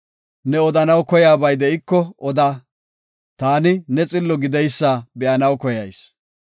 Ne odanaw koyaabay de7iko oda; taani ne xillo gideysa be7anaw koyayis.